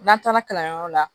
N'an taara kalanyɔrɔ la